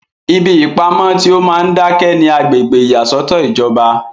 ibi ìpamọ tí ó máa ń dákẹ́ ni agbègbè ìyàsọ́tọ̀ ìjọba